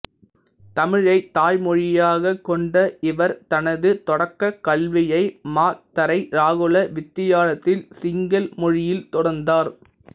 தமிழைத் தாய்மொழியாகக் கொண்ட இவர் தனது தொடக்கக் கல்வியை மாத்தறை ராகுல வித்தியாலத்தில் சிங்கள் மொழியில் தொடர்ந்தார்